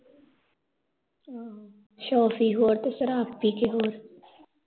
ਸ਼ੋਫੀ ਹੋਰ ਤੇ ਸ਼ਰਾਬ ਪੀਕੇ ਹੋਰ